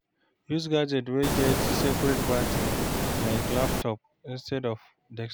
Use gadget wey get seperate battery like laptop instead of desktop